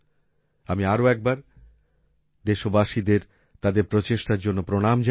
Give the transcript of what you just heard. আমি আরো একবার দেশবাসীদের তাদের প্রচেষ্টার জন্য প্রণাম জানাই